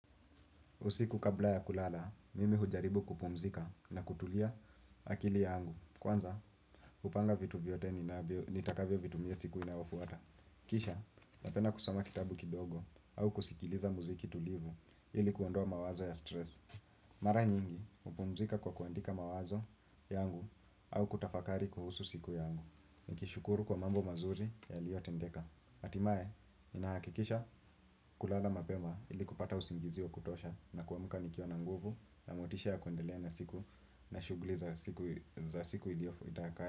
Usiku kabla ya kulala, mimi hujaribu kupumzika na kutulia akili yangu. Kwanza, hupanga vitu vyote nitakavyo vitumia siku inayofuata. Kisha, napenda kusoma kitabu kidogo au kusikiliza muziki tulivu ili kuondoa mawazo ya stress. Mara nyingi, hupumzika kwa kuandika mawazo yangu au kutafakari kuhusu siku yangu. Nikishukuru kwa mambo mazuri yalio tendeka. Atimae, inahakikisha kulala mapema ili kupata usingizi wa kutosha nakuamuka nikiwa na nguvu na motisha ya kuendelea na siku na shuguli za siku iliof itakayo.